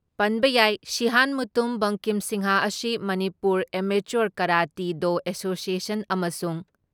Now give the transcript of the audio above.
ꯄꯟꯕ ꯌꯥꯏ, ꯁꯤꯍꯥꯟ ꯃꯨꯇꯨꯝ ꯕꯛꯀꯤꯝ ꯁꯤꯡꯍ ꯑꯁꯤ Manipur amateur karate do association ꯑꯃꯁꯨꯡ